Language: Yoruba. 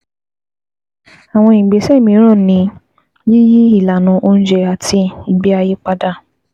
àwọn ìgbésẹ̀ mìíràn ni yíyí ilànà oúnjẹ àti ìgbé ayé padà